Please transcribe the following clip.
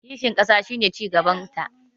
kishin ƙasa shi ne cigabanta